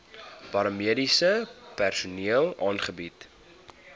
paramediese personeel aangebied